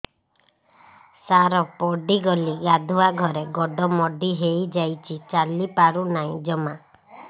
ସାର ପଡ଼ିଗଲି ଗାଧୁଆଘରେ ଗୋଡ ମୋଡି ହେଇଯାଇଛି ଚାଲିପାରୁ ନାହିଁ ଜମା